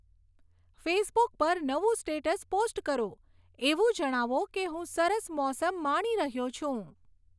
Facebook પર નવું status post કરો, એવું જણાવો કે હું સરસ મોસમ માણી રહ્યો છું